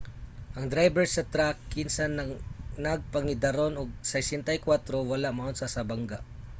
ang drayber sa trak kinsa nagpangidaron og 64 wala maunsa sa bangga